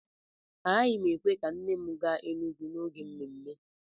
Agaghị m èkwè ka nne m gaa Enugwu n'oge mmemme